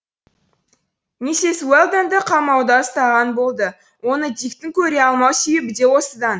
миссис уэлдонды қамауда ұстаған болды оны диктің көре алмау себебі де осыдан